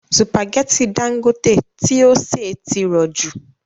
Sùpàgẹ́tì Dangote tí ó sè tí rọ jù